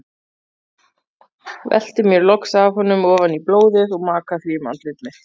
Velti mér loks af honum ofan í blóðið og maka því um andlit mitt.